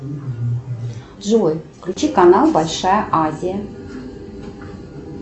джой включи канал большая азия